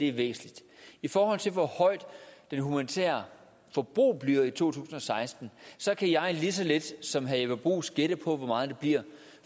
er væsentligt i forhold til hvor højt det humanitære forbrug bliver i to tusind og seksten kan jeg lige så lidt som herre jeppe bruus gætte på hvor meget det bliver